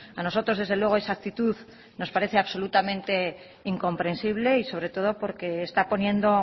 a nosotros desde luego esa actitud nos parece absolutamente incomprensible y sobre todo porque está poniendo